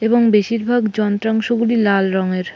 এবং বেশির ভাগ যন্ত্রাংশ গুলি লাল রঙের ।